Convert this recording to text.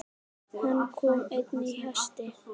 Hann kom einn á hesti.